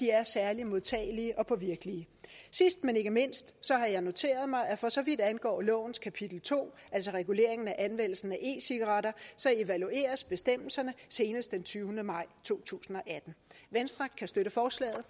er særlig modtagelige og påvirkelige sidst men ikke mindst har jeg noteret mig at for så vidt angår lovens kapitel to altså reguleringen af anvendelsen af e cigaretter evalueres bestemmelserne senest den tyvende maj to tusind og atten venstre kan støtte forslaget